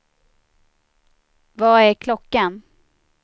Vad är klockan